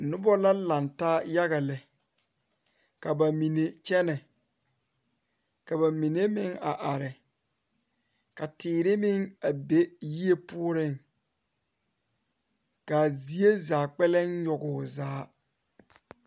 Noba la lantaa yaga zeŋ die poɔ ka vūūnee uri a nyɛne a die kyɛ kaa die takoe meŋ e kyaane kaa dendɔɛ mine meŋ a e kyaane.